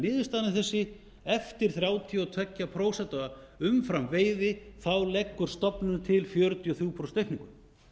niðurstaðan af þessu er því að eftir þrjátíu og tvö prósent umframveiði leggur stofnunin til fjörutíu og þrjú prósent aukningu